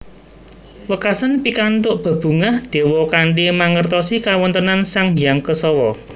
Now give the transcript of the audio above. Wekasan pikantuk bebungah dewa kanthi mangertosi kawontenan Sang Hyang Kesawa